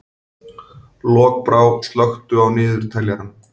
Lokbrá, slökktu á niðurteljaranum.